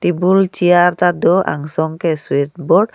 table chair ta do angsong ke switch board